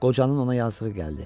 Qocanın ona yazığı gəldi.